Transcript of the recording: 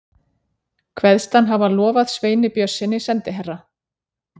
Kveðst hann hafa lofað Sveini Björnssyni, sendiherra